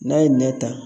N'a ye nɛn ta